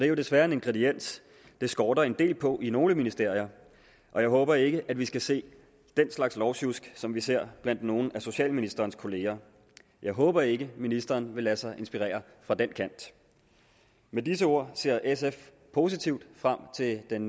jo desværre en ingrediens det skorter en del på i nogle ministerier og jeg håber ikke at vi skal se den slags lovsjusk som vi ser blandt nogle af socialministerens kolleger jeg håber ikke ministeren vil lade sig inspirere fra den kant med disse ord ser sf positivt frem til den